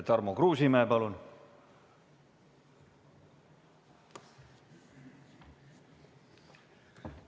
Tarmo Kruusimäe, palun!